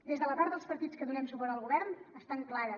des de la part dels partits que donem suport al govern estan clares